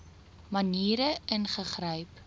maniere ingegryp